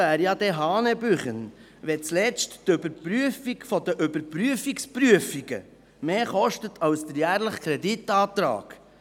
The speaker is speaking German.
Es wäre ja hanebüchen, wenn zuletzt die Überprüfung der Überprüfungsprüfungen mehr kosten würde als der jährliche Kreditantrag.